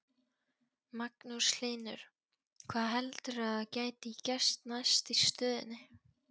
Magnús Hlynur: Hvað heldurðu að gæti gerst næst í stöðunni?